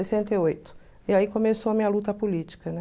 sessenta e oito. E aí começou a minha luta política, né?